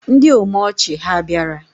Ndị omeọchị ha bịara?